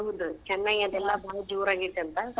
ಹೌದ್ ಚೆನೈ ಅದೆಲ್ಲಾ ಬಾಳ್ ಜೋರ್ ಆಗೇತಿ ಅಂತ.